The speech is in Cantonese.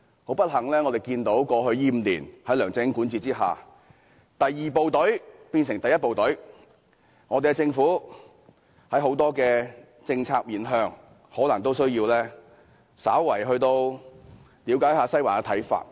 很不幸，過去5年，在梁振英管治下，第二部隊變成了第一部隊，政府在眾多政策上可能需要稍為了解一下"西環"的看法。